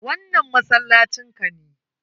Wannan masallacin ka ne?